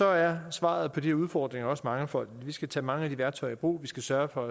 er svaret på de her udfordringer også mangefoldigt og vi skal tage mange af de værktøjer i brug vi skal sørge for